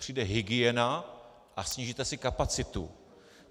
Přijde hygiena a snížíte si kapacitu.